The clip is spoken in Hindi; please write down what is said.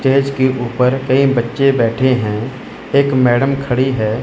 स्टेज के ऊपर कई बच्चे बैठे हैं एक मैडम खड़ी है।